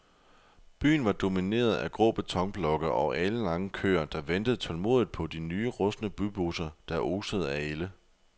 Byen var domineret af grå betonblokke og alenlange køer, der ventede tålmodigt på de rustne bybusser, der osede af ælde.